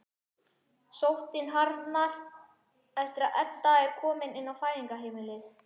Sóttin harðnar eftir að Edda er komin inn á Fæðingarheimilið.